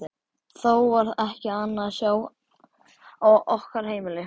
Þó var ekki annað að sjá á okkar heimili.